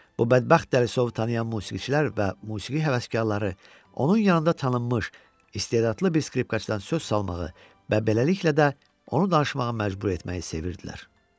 Bu bədbəxt dəlisovu tanıyan musiqiçilər və musiqi həvəskarları onun yanında tanınmış istedadlı bir skripkaçıdan söz salmağı və beləliklə də onu danışmağa məcbur etməyi sevirdilər.